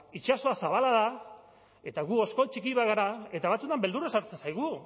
itsasoa zabala da eta gu oskol txiki bat gara eta batzuetan beldurra sartzen zaigu